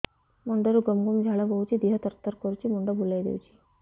ମୁଣ୍ଡରୁ ଗମ ଗମ ଝାଳ ବହୁଛି ଦିହ ତର ତର କରୁଛି ମୁଣ୍ଡ ବୁଲାଇ ଦେଉଛି